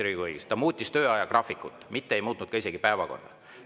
Riigikogu tegi seda, ta muutis töö ajagraafikut, mitte ei muutnud isegi päevakorda.